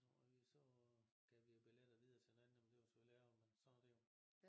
Så vi så gav vi jo billetter videre til en anden jamen det var selvfølgelig ærgerligt men sådan er det jo